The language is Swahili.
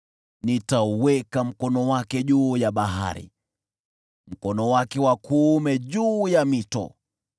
Nitauweka mkono wake juu ya bahari, mkono wake wa kuume juu ya mito.